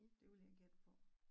Det ville jeg gætte på